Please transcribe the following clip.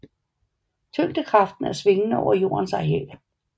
Tyngdekraften er svingende over jordens areal